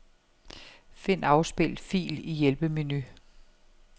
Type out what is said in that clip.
Find afspil fil i hjælpemenu.